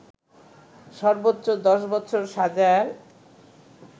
সর্বোচ্চ ১০ বছর সাজার